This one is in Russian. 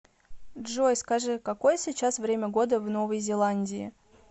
джой скажи какое сейчас время года в новой зеландии